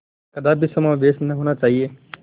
कदापि समावेश न होना चाहिए